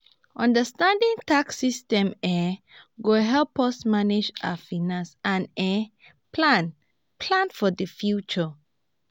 understanding tax system um go help us manage our finance and um plan plan for the future.